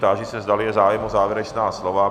Táži se, zdali je zájem o závěrečná slova.